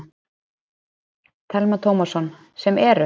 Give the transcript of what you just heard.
Telma Tómasson: Sem eru?